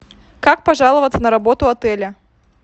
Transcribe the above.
как пожаловаться на работу отеля